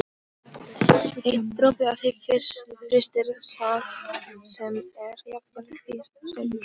Einn dropi af því frystir hvað sem er- jafnvel kvikasilfur.